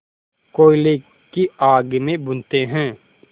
कोयले की आग में भूनते हैं